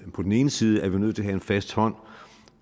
vi på den ene side er nødt til at have en fast hånd